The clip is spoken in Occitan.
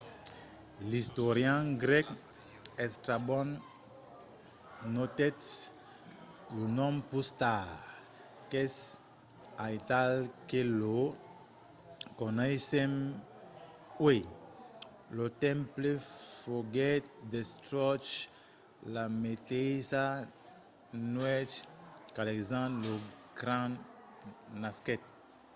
l'istorian grèc estrabon notèt lo nom pus tard qu'es aital que lo coneissèm uèi. lo temple foguèt destruch la meteissa nuèch qu'alexandre lo grand nasquèt